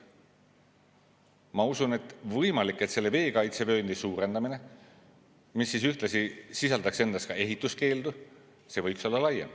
Ma usun, et võimalik, et see veekaitsevöönd, mis ühtlasi ka ehituskeeldu, võiks olla laiem.